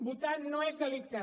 votar no és delicte